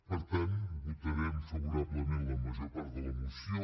per tant votarem favorablement la major part de la moció